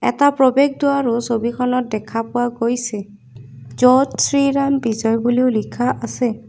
এটা প্ৰৱেশদ্বাৰো ছবিখনত দেখা পোৱা গৈছে য'ত শ্ৰীৰাম বিজয় বুলিও লিখা আছে।